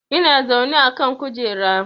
Ina zaune a kan kujera